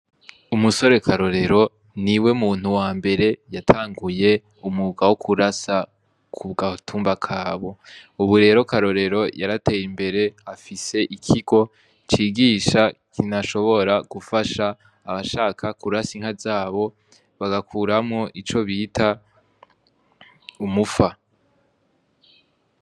Umusore karorero ni we muntu wa mbere yatanguye umuga wo kurasa ku bwatumba kabo uburero karorero yarateye imbere afise ikigo cigisha kinashobora gufasha abashaka kurasa inka zabo bagakuramo ico bita umufa.